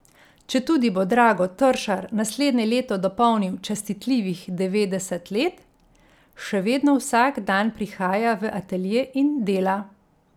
Četudi bo Drago Tršar naslednje leto dopolnil častitljivih devetdeset let, še vedno vsak dan prihaja v atelje in dela.